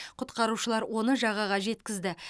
құтқарушылар оны жағаға жеткізді